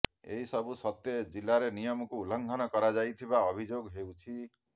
ଏସବୁ ସତ୍ତ୍ୱେ ଜିଲ୍ଲାରେ ନିୟମକୁ ଉଲ୍ଲଂଘନ କରାଯାଉଥିବା ଅଭିଯୋଗ ହେଉଛି